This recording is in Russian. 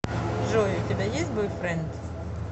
джой у тебя есть бойфренд